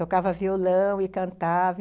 Tocava violão e cantava.